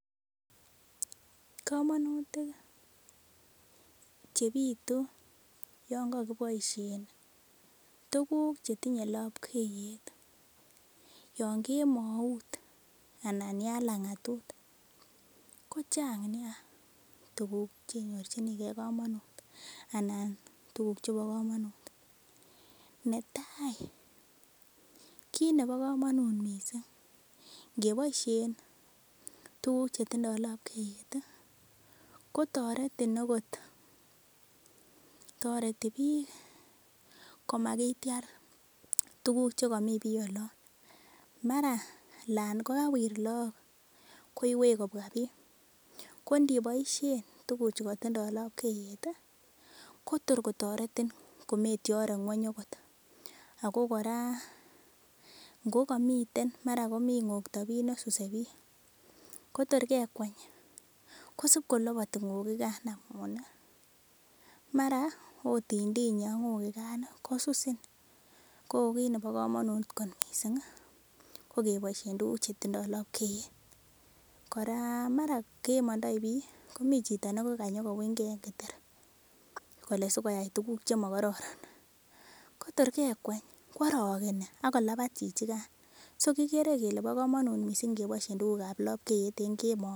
Kamanutik chebituyangagibaishen tuguk chetinye lapkeiyet yangemaut anan ya langatut kochang nei tugu chebarchinigei kamanut anan ko tuguk chebakamnut netai ko kit Nebo kamanut mising nebaishen tuguk chetindo lapkeiyet kotaretin okot tareti bik komakitiar tuguk chekamin bi olon mara Alan kokawir lagok koiwek kobwa bik konibaishen tuguk chetindo lapkeiyet Kotor kotaretin kometiare ngweny okot agogora komamiten komin ngogta bi nekasuse bik Kotor kekweny kosib kolabati ngogi gan amun mara otintinye angogigan kosusin kokit nebakamanut kot mising kokebaishenbtuguk chetinye lapkeiyet kora mara kemandoi bik komiten Chito nekanyo kowinygei en kitanda en Keter sikoyai tuguk chemakororo. Kotor kekweny kwarakeni akolabat chichiganbsokigere Kole ba kamanut kobaishe tuguk ab lapkeiyet en kemout